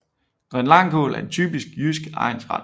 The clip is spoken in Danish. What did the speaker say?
Grønlangkål er en typisk jysk egnsret